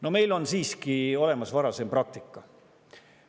No meil on siiski olemas varasem praktika.